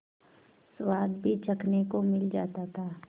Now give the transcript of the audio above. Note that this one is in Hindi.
स्वाद भी चखने को मिल जाता था